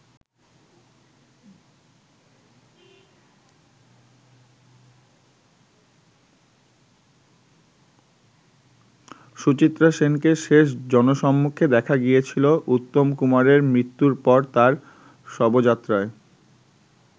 সুচিত্রা সেনকে শেষ জনসম্মুখে দেখা গিয়েছিল উত্তম কুমারের মৃত্যুর পর তার শবযাত্রায়।